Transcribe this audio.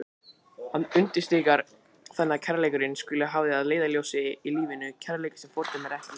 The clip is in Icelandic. Hann undirstrikar þannig að kærleikurinn skuli hafður að leiðarljósi í lífinu, kærleikur sem fordæmir ekki.